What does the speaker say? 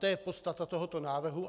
To je podstata tohoto návrhu.